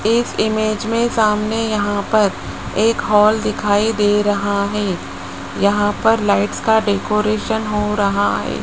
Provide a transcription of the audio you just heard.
इस इमेज में सामने यहां पर एक हाल दिखाई दे रहा है यहां पर लाइट्स का डेकोरेशन हो रहा है।